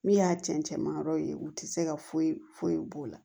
Min y'a cɛncɛn ma yɔrɔ ye u tɛ se ka foyi foyi k'o la